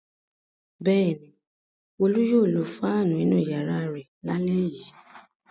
Bẹ́ẹ̀ ni, Olú yóò lo fáánù inú ìyàrá rẹ̀ lálẹ́ yìí.